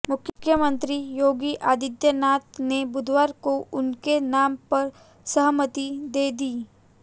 मुख्यमंत्री योगी आदित्यनाथ ने बुधवार को उनके नाम पर सहमति दे दी